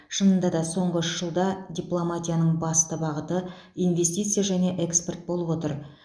шынында да соңғы үш жылда дипломатияның басты бағыты инвестиция және экспорт болып отыр